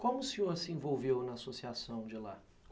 Como o senhor se envolveu na associação de lá?